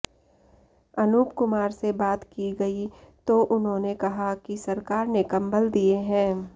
अनूप कुमार से बात की गई तो उन्होंने कहा कि सरकार ने कंबल दिए हैं